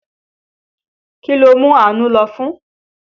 Kí ló mú Àánú lọ́fun?